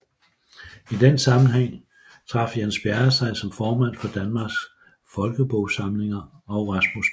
I den sammenhæng trak Jens Bjerre sig som formand for Danmarks Folkebogsamlinger og Rasmus P